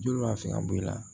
Joli b'a fɛ ka bɔ i la